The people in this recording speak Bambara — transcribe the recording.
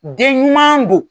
Den ɲuman do.